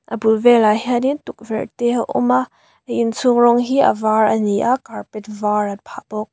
a bul velah hianin tukverh te a awm a inchhung rawng hi a var ani a carpet var an phah bawk.